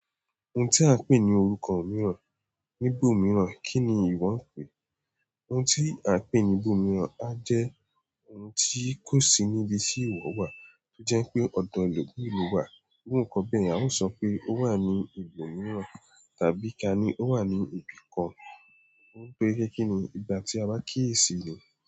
Ohun tí a ń pè ní orúkọ mìíràn, níbo mìíràn, kí ni ìwọ ń pè é? Ohun tí a ń pè ní ibòmíràn a jẹ́ ohun tí kò sí níbi tí ìwọ wà. Tó jẹ́ pé ọ̀dọ̀ elomii lo wà, irú nǹkan bẹ́ẹ̀ yen a ó sọ pé ó wà ní ibòmíràn. Tàbí ká ní ó wà ní ibì kan, ó ń pẹ́ kiní ìgbà tí a bá kíyèsi ni.